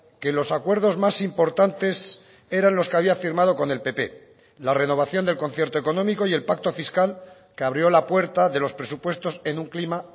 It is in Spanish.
que los acuerdos más importantes eran los que había firmado con el pp la renovación del concierto económico y el pacto fiscal que abrió la puerta de los presupuestos en un clima